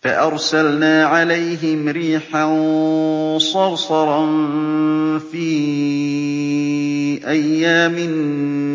فَأَرْسَلْنَا عَلَيْهِمْ رِيحًا صَرْصَرًا فِي أَيَّامٍ